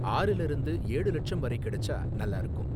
ஆறுல இருந்து ஏழு லட்சம் வரை கிடைச்சா நல்லா இருக்கும்